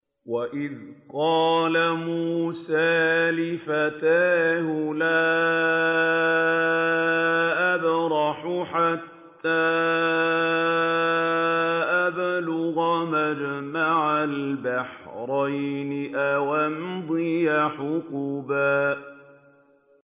وَإِذْ قَالَ مُوسَىٰ لِفَتَاهُ لَا أَبْرَحُ حَتَّىٰ أَبْلُغَ مَجْمَعَ الْبَحْرَيْنِ أَوْ أَمْضِيَ حُقُبًا